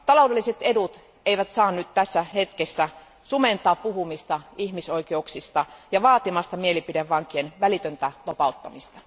Taloudelliset edut eivät saa nyt tässä hetkessä sumentaa puhumista ihmisoikeuksista ja estää vaatimasta mielipidevankien välitöntä vapauttamista.